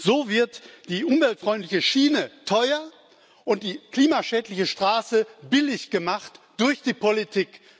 So wird die umweltfreundliche Schiene teuer und die klimaschädliche Straße billig gemacht durch die Politik.